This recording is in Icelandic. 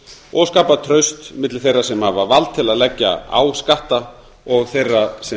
og skapa traust milli þeirra sem hafa vald til að leggja á skatta og þeirra sem